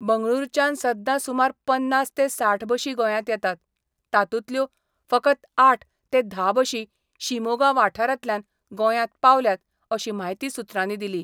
बंगळुरांच्यान सद्दा सुमार पन्नास ते साठ बशी गोंयांत येतात, तातूंतल्यो फकत आठ ते धा बशी शिमोगा वाठारांतल्यान गोंयांत पावल्यात अशी म्हायती सुत्रांनी दिली.